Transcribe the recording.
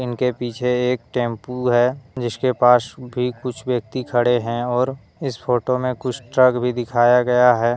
इनके पीछे एक टेंपू है जिसके पास भी कुछ व्यक्ति खड़े हैं और इस फोटो में कुछ ट्रक भी दिखाया गया है।